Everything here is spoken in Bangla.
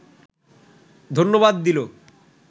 ধন্যবাদ দিল